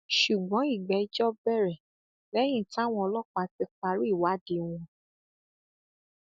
ṣùgbọn ìgbẹjọ bẹrẹ lẹyìn táwọn ọlọpàá ti parí ìwádìí wọn